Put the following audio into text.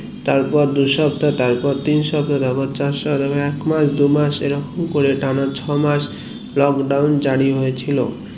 তারপর দু সপ্তা তারপর তিন সপ্তা তারপর চার সপ্তা তারার এক মাস দু মাস এরকম করে টানা ছয় মাস lockdown জারি হয়েছিল